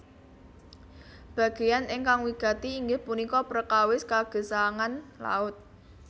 Bagéyan ingkang wigati inggih punika prekawis kagesangan laut